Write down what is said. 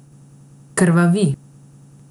Krvavi.